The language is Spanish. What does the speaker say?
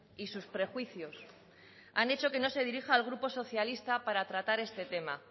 y sus prejuicios han hecho que no se dirija al grupo socialista para tratar este tema